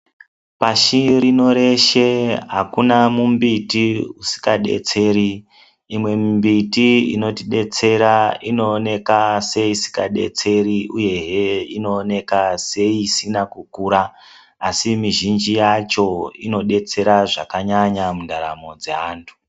Pashi reshe rino akuna mumbiti isikadetseri imwe mimbiti inotidetsera inooneka seisikadetseri uyehe inooneka seisina kukura asi mizhinji yacho inodetsera zvakanyanya mundaramo dzaantu.